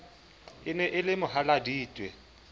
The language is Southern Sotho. e ne e le mohaladitwe